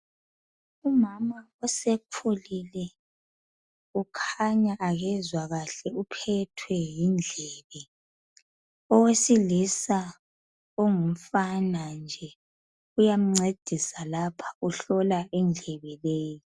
Umama osekhulile ukhanya akezwa kahle uphethwe yindlebe. Owesilisa ongumfana nje uyamncedisa uhlola indlebe le.